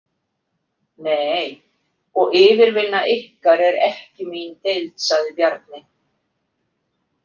Nei, og yfirvinna ykkar er ekki mín deild, sagði Bjarni.